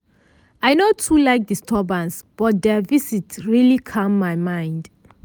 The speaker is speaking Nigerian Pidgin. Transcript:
i no too like disturbance but their visit really calm my mind.